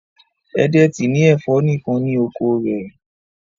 Edet ní ẹfọ nìkàn ní oko rẹ